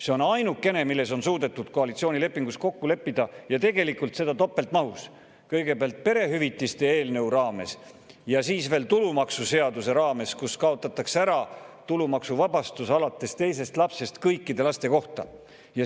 See on ainukene, milles on suudetud koalitsioonilepingus kokku leppida, ja tegelikult seda topeltmahus: kõigepealt perehüvitiste eelnõu raames ja siis veel tulumaksuseaduse raames, kus kaotatakse ära tulumaksuvabastus alates teisest lapsest kõikide laste kohta.